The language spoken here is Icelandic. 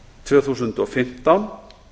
tvö þúsund og fimmtán